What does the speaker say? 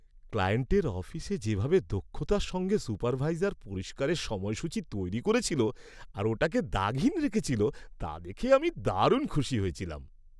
ক্লায়েন্টের অফিসে যেভাবে দক্ষতার সঙ্গে সুপারভাইজার পরিষ্কারের সময়সূচি তৈরি করেছিল আর ওটাকে দাগহীন রেখেছিল তা দেখে আমি দারুণ খুশি হয়েছিলাম।